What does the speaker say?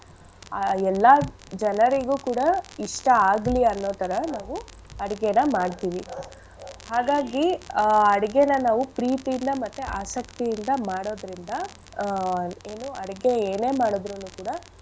ಆ ಎಲ್ಲಾ ಜನರಿಗೂ ಕೂಡ ಇಷ್ಟ ಆಗ್ಲಿ ಅನ್ನೋ ತರ ನಾವು ಅಡ್ಗೆನ ಮಾಡ್ತಿವಿ . ಹಾಗಾಗಿ ಆ ಅಡ್ಗೆನ ನಾವು ಪ್ರೀತಿಯಿಂದ ಮತ್ತೆ ಆಸಕ್ತಿಯಿಂದ ಮಾಡೋದ್ರಿಂದ ಆ ಏನು ಅಡ್ಗೆ ಏನೇ ಮಾಡಿದ್ರುನು ಕೂಡ.